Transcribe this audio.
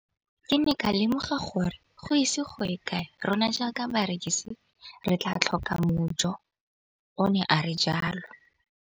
Ke ne ka lemoga gore go ise go ye kae rona jaaka barekise re tla tlhoka mojo, o ne a re jalo.